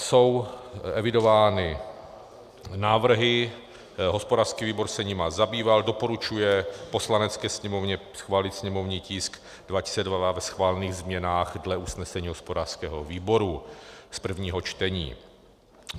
Jsou evidovány návrhy, hospodářský výbor se jimi zabýval, doporučuje Poslanecké sněmovně schválit sněmovní tisk 202 ve schválených změnách dle usnesení hospodářského výboru z prvního čtení.